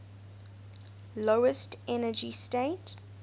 lowest energy state